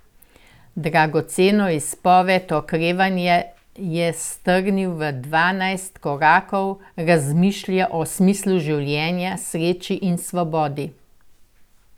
Dragoceno izpoved okrevanja je strnil v dvanajst korakov, razmišlja o smislu življenja, sreči in svobodi.